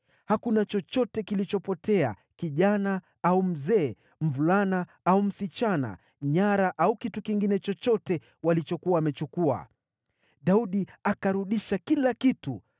Hakuna chochote kilichopotea: kijana au mzee, mvulana au msichana, nyara au kitu kingine chochote walichokuwa wamechukua. Daudi akarudisha kila kitu.